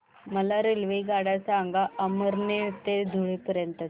मला रेल्वेगाड्या सांगा अमळनेर ते धुळे पर्यंतच्या